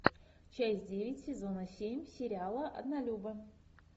часть девять сезона семь сериала однолюбы